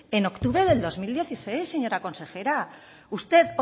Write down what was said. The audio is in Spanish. en octubre del dos mil dieciséis señora consejera usted